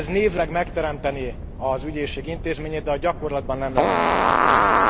Ez névleg megteremtené az ügyészség intézményét, de a gyakorlatban nem lenne működőképes.